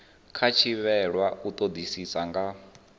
khou thivhelwa u todisisa nga